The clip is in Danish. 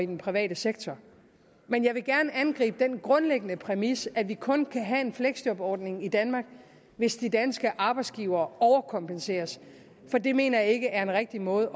den private sektor men jeg vil gerne angribe den grundlæggende præmis om at vi kun kan have en fleksjobordning i danmark hvis de danske arbejdsgivere overkompenseres for det mener jeg ikke er en rigtig måde